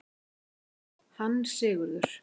Hún svaraði: Hann Sigurður!